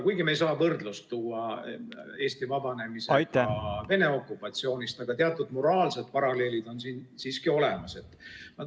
... kuigi me ei saa võrdlust tuua Eesti vabanemisega Vene okupatsioonist, aga teatud moraalsed paralleelid on siin siiski olemas.